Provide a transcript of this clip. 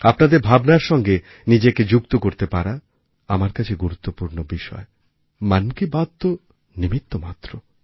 আপনাদের ভাবনারসঙ্গে নিজেকে যুক্ত করতে পারা আমার কাছে গুরুত্বপূর্ণ বিষয় মন কি বাত তো নিমিত্তমাত্র